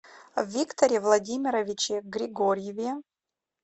викторе владимировиче григорьеве